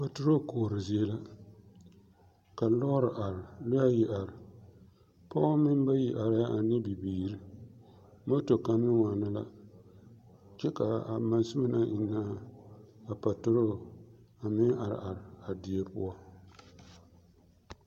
Patorol koɔre zie la ka lɔɔre are lɔɛ ayi are pɔgeba meŋ bayi arɛɛ la ane bibiiri moto kaŋ meŋ waana la kyɛ k,a monsume naŋ eŋnɛ a patorol a meŋ are are a zie poɔ.